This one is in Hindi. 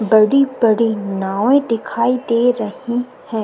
बड़ी-बड़ी नावें दिखाई दे रही हैं।